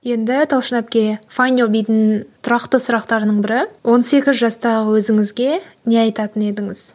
енді талшын әпке файдюбидің тұрақты сұрақтарының бірі он сегіз жастағы өзіңізге не айтатын едіңіз